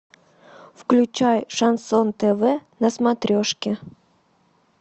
включай шансон тв на смотрешке